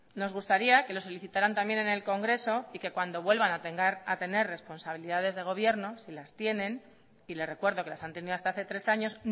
nos gustaría que lo solicitaran también en el congreso y que cuando vuelvan a tener responsabilidades de gobierno si las tienen y le recuerdo que las han tenido hasta hace tres años